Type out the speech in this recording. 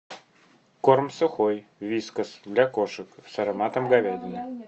корм сухой вискас для кошек с ароматом говядины